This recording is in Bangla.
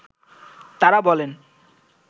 তারা বলেন